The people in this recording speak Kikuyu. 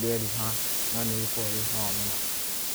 rĩeruha, no nĩ rĩkoragwo rĩ cama mũno.